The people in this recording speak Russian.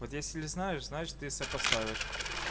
вот если знаешь значит ты сопоставишь